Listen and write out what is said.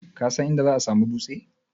Kasan inda za'a samu dutse?